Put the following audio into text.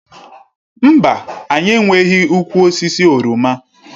Mba, anyị enweghị ụkwụ osisi oroma.